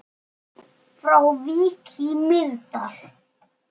Frá Vík í Mýrdal